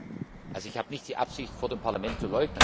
Ich habe nicht die Absicht, vor dem Parlament zu leugnen.